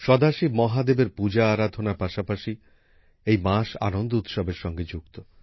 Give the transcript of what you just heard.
সদাশিব মহাদেবের পূজা আরাধনার পাশাপাশি এই মাস আনন্দ উৎসবের সঙ্গে যুক্ত